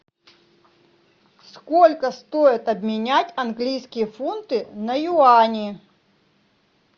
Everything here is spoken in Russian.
сколько стоит обменять английские фунты на юани